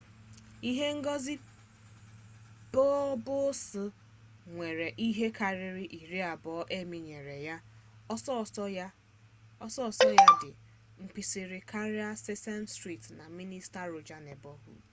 ihe ngosi pbs nwere ihe kariri iri abuo emmy nyere ya oso oso ya di mkpirisi karia sesame street na mister rogers 'neighborhood